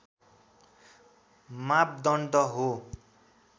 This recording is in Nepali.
मापदण्ड हो